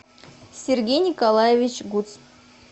сергей николаевич гуц